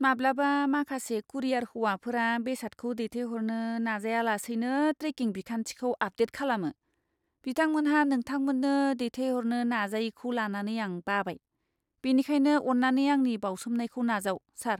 माब्लाबा, माखासे कुरियार हौवाफोरा बेसादखौ दैथायहरनो नाजायालासैनो ट्रेकिं बिखान्थिखौ आपडेट खालामो। बिथांमोनहा नोंथांमोननो दैथायहरनो नाजायैखौ लानानै आं बाबाय, बेनिखायनो अन्नानै आंनि बावसोमनायखौ नाजाव, सार।